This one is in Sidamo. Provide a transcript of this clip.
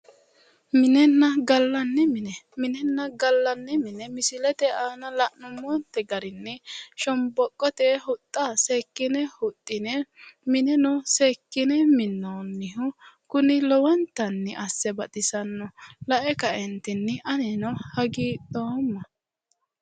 Minenna gallanni mine, minenna gallanni mine misilete aana la'nummonte garinni shomboqote huxxa seekkine huxxine mineno seekkine minnoonnihu kuni lowontanni asse baxisanno. Lae kaeentini anino hagiidhoomma.